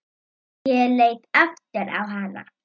Ég leit aftur á hana.